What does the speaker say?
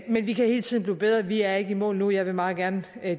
men vi kan hele tiden blive bedre vi er ikke i mål endnu jeg vil meget gerne